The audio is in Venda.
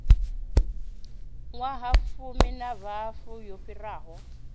ṅwahafumi na hafu yo fhiraho